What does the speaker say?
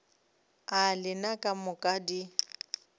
a lena ka moka di